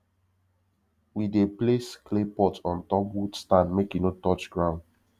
we dey place clay pot on top wood stand make e no touch ground